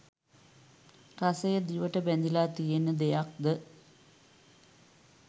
රසය දිවට බැඳිල තියෙන දෙයක්ද?